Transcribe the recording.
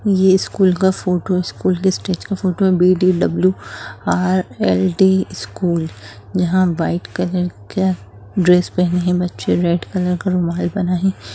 ये स्कूल का photo school का स्टेज का फ़ोटो है| बी_डी_डब्लू_आर_ल_डी स्कूल( | यहां वाइट कलर का ड्रेस पहने है बच्चे रेड कलर का रुमाल बना है।